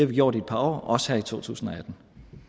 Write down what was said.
vi gjort i et par år også her i totusinde